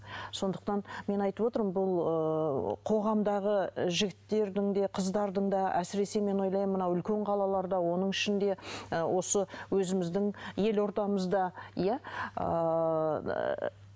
сондықтан мен айтып отырмын бұл ыыы қоғамдағы жігіттердің де қыздардың да әсіресе мен ойлаймын мына үлкен қалаларда оның ішінде ы осы өзіміздің елордамызда иә ыыы